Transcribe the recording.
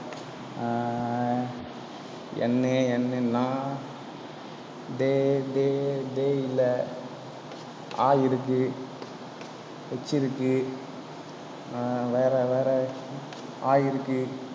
N A N N ஆ டேய், டேய், டேய் இல்லை. ஆ இருக்கு h இருக்கு ஆஹ் வேற, வேற ஆ இருக்கு